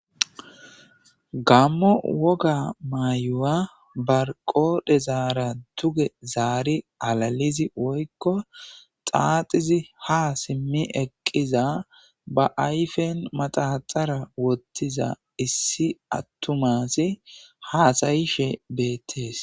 gammo woga mayuwa barqodhe zaara duge zaari alalizi woykko xaaxizi ha simmi eqqiza ba ayfen maxahaxara wottiza issi attumasi haasayishe beettees